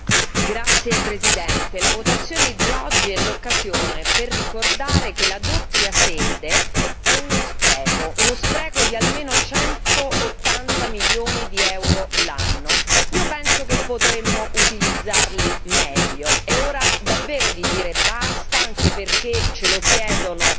Signor Presidente, onorevoli colleghi, la votazione di oggi è l'occasione per ricordare che la doppia sede è uno spreco di almeno 180 milioni di euro l'anno. Io penso che potremmo utilizzarli meglio, è ora davvero di dire basta, anche perché ce lo chiedono